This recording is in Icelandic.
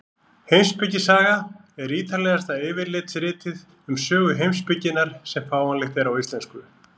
Heimspekisaga er ítarlegasta yfirlitsritið um sögu heimspekinnar sem fáanlegt er á íslensku.